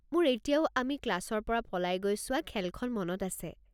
মোৰ এতিয়াও আমি ক্লাছৰ পৰা পলাই গৈ চোৱা খেলখন মনত আছে।